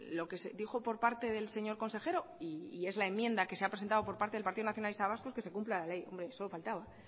lo que se dijo por parte del señor consejero y es la enmienda que se ha presentado por parte del partido nacionalista vasco es que se cumpla la ley hombre solo faltaba